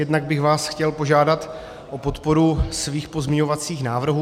Jednak bych vás chtěl požádat o podporu svých pozměňovacích návrhů.